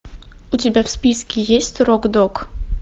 у тебя в списке есть рок дог